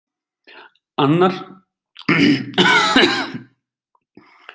Arnar skoraði strax fyrir Fram